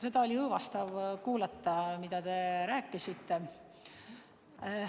Seda oli õõvastav kuulata, mida te rääkisite.